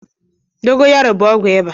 Dogo yaro bụ ọgwụ ịba